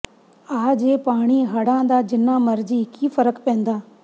ਆ ਜੇ ਪਾਣੀ ਹੜਾਂ ਦਾ ਜਿੰਨਾ ਮਰਜ਼ੀ ਕੀ ਫਰਕ ਪੈਂਦਾ